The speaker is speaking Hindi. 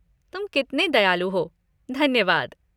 तुम कितने दयालु हो, धन्यवाद।